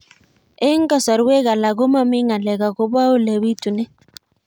Eng' kasarwek alak ko mami ng'alek akopo ole pitunee